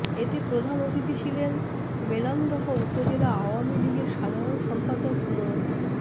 এতে প্রধান অতিথি ছিলেন মেলান্দহ উপজেলা আওয়ামী লীগের সাধারণ সম্পাদক মো